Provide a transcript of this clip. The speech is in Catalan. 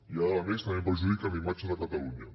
i ara a més també perjudiquen la imatge de catalunya